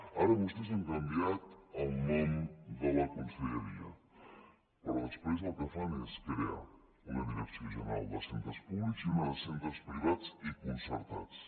ara vostès han canviat el nom de la conselleria però després el que fan és crear una direcció general de centres públics i una de centres privats i concertats